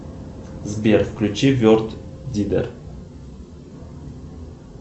сбер включи верд дидор